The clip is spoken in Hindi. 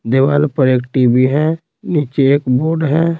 देवाल पर एक टी_वी है नीचे एक बोर्ड है।